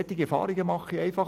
Solche Erfahrungen mache ich.